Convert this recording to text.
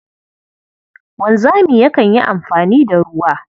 Wanzami yakan yi amfani da ruwa.